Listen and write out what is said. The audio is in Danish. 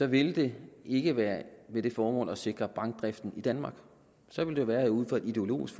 ville det ikke være med det formål at sikre bankdriften i danmark så ville det være ud fra et ideologisk